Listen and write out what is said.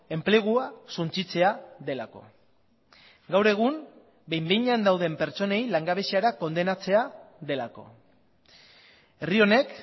enplegua suntsitzea delako gaur egun behin behinean dauden pertsonei langabeziara kondenatzea delako herri honek